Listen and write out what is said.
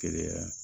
Keleya yan